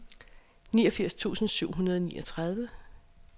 niogfirs tusind syv hundrede og niogtredive